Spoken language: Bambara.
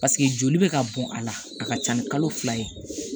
joli bɛ ka bɔn a la a ka ca ni kalo fila ye